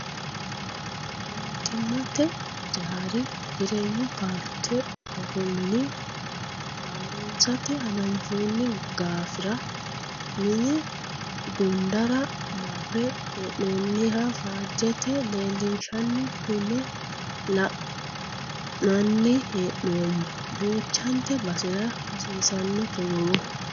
Mootimmate hijaara jireenyu paarte borro mine haaronsate hananfonni gaafira mine gundara marre hee'nonniha faajete leelinshanni kune la'nanni hee'noommo duuchate basera hasiisano togohu.